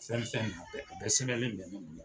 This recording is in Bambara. Fɛn o fɛn nɔ bɛ a la, a bɛ sɛbɛnlen bɛ ne bolo.